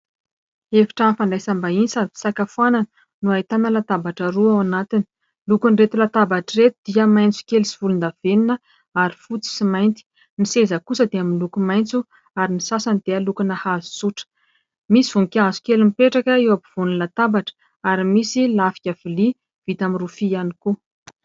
Efitrano fandraisam-bahiny sady fisakafoanana no ahitana latabatra roa ao anatiny. Lokon'ireto latabatra ireto dia maitsokely sy volondavenona ary fotsy sy mainty. Nys seza kosa dia miloko maitso ary ny sasany dia lokona hazo tsotra. Misy voninkazo kely mipetraka eo ampovoan'ny latabatra ary misy lafika vilia vita amin'ny rofia ihany koa.